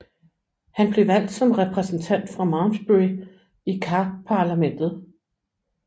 Han blev valgt som repræsentant fra Malmesbury i Kaparlamentet